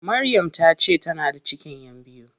Maryam tace tana da cikin ƴan biyu.